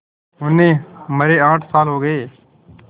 उन्हें मरे आठ साल हो गए